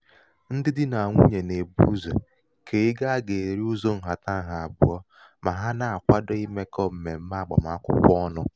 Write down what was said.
ndị di nà nwunyè nà-èbu ụzọ̀ kèe ego a gà-èri ụzọ̄ ǹhàtaǹhà àbụ̀ọ mà ha na-àkwado mà ha na-àkwado imēkọ̄ m̀mèm̀me àgbàm akwụkwọ ọnụ̄.